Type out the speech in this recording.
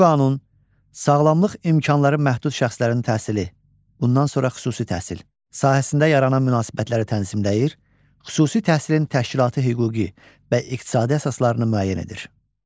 Bu qanun sağlamlıq imkanları məhdud şəxslərin təhsili, bundan sonra xüsusi təhsil sahəsində yaranan münasibətləri tənzimləyir, xüsusi təhsilin təşkilati hüquqi və iqtisadi əsaslarını müəyyən edir.